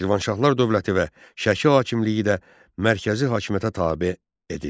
Şirvanşahlar dövləti və Şəki hakimliyi də mərkəzi hakimiyyətə tabe edildi.